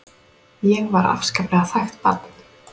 Ég var afskaplega þægt barn.